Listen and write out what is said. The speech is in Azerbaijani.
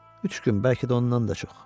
Üç gün, bəlkə də ondan da çox.